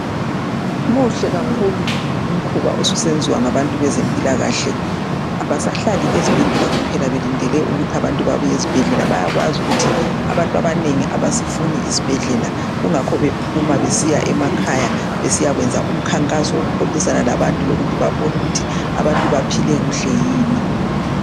Muhle kakhulu umsebenzi osusenziwa ngabezempilakahle abasahlali ezibhedlela kuphela belindele ukuthi abantu bebuye ezibhedlela bayakwazi ukuthi abantu abanengi abasifuni isibhedlela kungakho bephuma besiya emakhaya besiya kwenza umkhankaso woku xoxisana labantu lokuthi babone ukuthi abantu baphile kuhle yini.